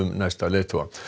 næsta leiðtoga